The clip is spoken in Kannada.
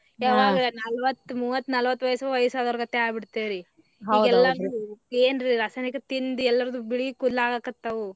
ಯಾವಾಗ ನಾಲ್ವತ್ತ್ ಮೂವತ್ತ್ ನಾಲ್ವತ್ತ್ ವಯಸ್ಸ್ ವಯಸ್ಸ್ ಹೋದವ್ರಗತೆ ಅಗಿಬಿಡತೇವ್ರಿ ಈಗ ಎಲ್ಲಾ ಏನ್ರೀ ರಾಸಾಯನಿಕ ತಿಂದ್ ಎಲ್ಲಾರ್ದು ಬಿಳಿ ಕೂದ್ಲ್ ಆಗಾಕತ್ತಾವು.